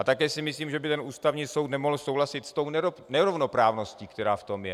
A také si myslím, že by ten Ústavní soud nemohl souhlasit s tou nerovnoprávností, která v tom je.